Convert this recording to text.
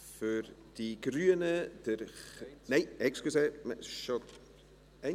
Für die Grünen … Nein, entschuldigen Sie.